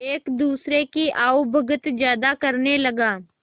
एक दूसरे की आवभगत ज्यादा करने लगा